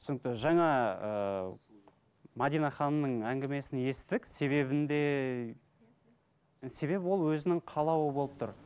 түсінікті жаңа ыыы мәдина ханымның әңгімесін естідік себебін де себебі ол өзінің қалауы болып тұр